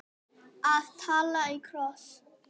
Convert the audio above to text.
Að tala í kross